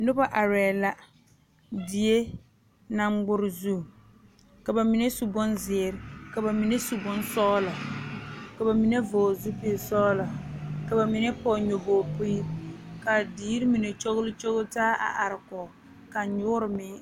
Noba are la die naŋ ŋmare zu ka bamine su bonziiri, ka bamine su bonsɔglɔ ka bamine vɔgle zupele sɔglɔ ka bamine poɔ nya boɔ pire ka diire mine kyɔle kyɔle taa a are kɔŋ ka nyuure meŋ.